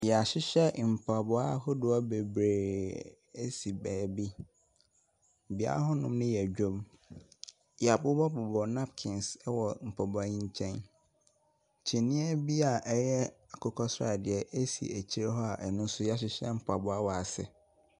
Wɔahyehyɛ mpaboa ahodoɔ bebree si baabi. Beaeɛ hɔnom no yɛ dwam. Wɔabobɔbobɔ napkins wɔ mpaboa yi nkyɛn. Kyiniiɛ bi a ɛyɛ akokɔ sradeɛ si akyire hɔ a wɔahyehyɛ mpaboa wɔ so.